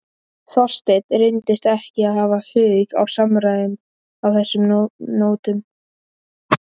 Þorsteinn reyndist ekki hafa hug á samræðum á þessum nótum.